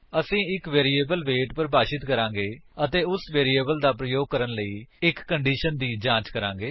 ਅਸੀ ਇੱਕ variable wait ਪਰਿਭਾਸ਼ਿਤ ਕਰਾਂਗੇ ਅਤੇ ਉਸ ਵੈਰਿਏਬਲ ਦਾ ਪ੍ਰਯੋਗ ਕਰਨ ਲਈ ਇੱਕ ਕੰਡੀਸ਼ਨ ਦੀ ਜਾਂਚ ਕਰਾਂਗੇ